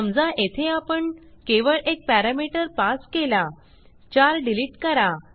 समजा येथे आपण केवळ एक पॅरामीटर पास केला चार डिलीट करा